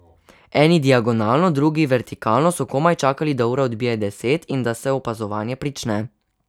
Eni diagonalno, drugi vertikalno so komaj dočakali, da ura odbije deset in da se opazovanje prične.